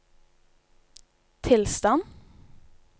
tilstand